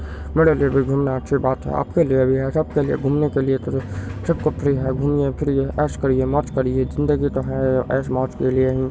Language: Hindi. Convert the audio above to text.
आपके लिए सबके लिए सब कुछ फ़्री है घुमिये फिर्ये ऐश करिये मौज करिये जिंदगी का है ऐश मौज के लिए ही